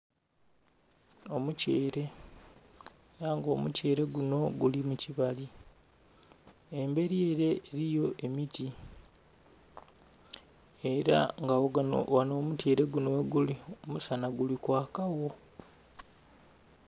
Omutyeele era nga omutyeele gunho guli mukibali embeli ere eliyo emiti era nga ghanho omutyeele gunho gheguli omusana guli kwaka gho.